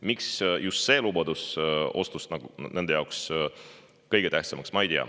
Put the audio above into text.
Miks just see lubadus osutus nende jaoks kõige tähtsamaks, seda ma ei tea.